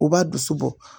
U b'a dusu bɔ